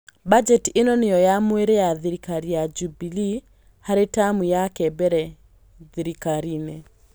Mbanjeti ĩno nĩyo ya mwĩrĩ ya thirikari ya Jubilee harĩ tamu yake mbere thirikari-inĩ